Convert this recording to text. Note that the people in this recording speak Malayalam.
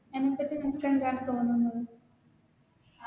എന്തൊക്കെ Difference ആണു തോന്നുന്നത്